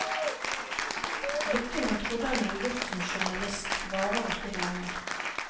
Lykken han trodde han hadde gjort som journalist varer ikke lenge.